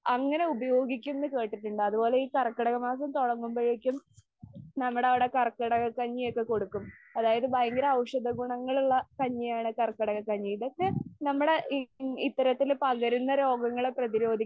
അങ്ങനെ ഉപയോഗിക്കും എന്ന് കേട്ടിട്ടുണ്ട്. അതുപോലെ ഈ കർക്കിടക മാസം തുടങ്ങുമ്പോഴേക്കും നമ്മടെ അവിടെ കർക്കിടക കഞ്ഞി ഒക്കെ കൊടുക്കും. അതായത് ഭയങ്കര ഔഷധ ഗുണങ്ങളുള്ള കഞ്ഞി ആണ് കർക്കിടക കഞ്ഞി. ഇതൊക്കെ നമ്മടെ ഈ ഇത്തരത്തില് പകരുന്ന രോഗങ്ങളൊക്കെ പ്രതിരോധിക്കാനാണ്